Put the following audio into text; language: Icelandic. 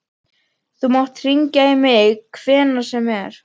Þú mátt hringja í mig hvenær sem er.